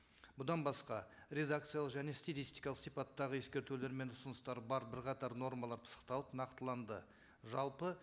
бұдан басқа редакциялық және стилистикалық сипаттағы ескертулер мен ұсыныстар бар бірқатар нормалар пысықталып нақтыланды жалпы